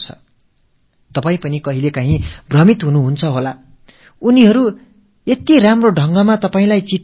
மிக நேர்த்தியான வகையில் கடிதம் எழுதியிருக்கிறார்களே இது சரியாகத் தான் இருக்க வேண்டும் என்று நீங்களே கூட மயங்கிப் போகலாம்